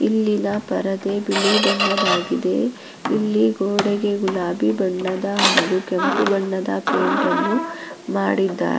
ಇಲ್ಲಿ ನ ಪರದೆ ಬಿಳಿ ಬಣ್ಣದಾಗಿದೆ ಇಲ್ಲಿ ಗೋಡೆಗೆ ಗುಲಾಬಿ ಬಣ್ಣದ ಹಾಗು ಕೆಂಪು ಬಣ್ಣದ ಪೈಂಟ್ ನ್ನು ಮಾಡಿದ್ದಾರೆ.